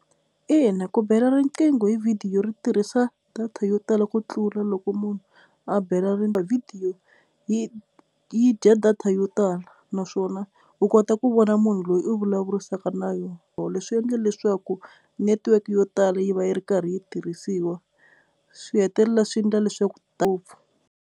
Ina, ku bela riqingho hi vhidiyo ri tirhisa data yo tala ku tlula loko munhu a bela vhidiyo yi yi dya data yo tala naswona u kota ku vona munhu loyi u vulavurisaka na yo leswi endla leswaku network yo tala yi va yi ri karhi yi tirhisiwa swi hetelela swi ndla leswaku ngopfu.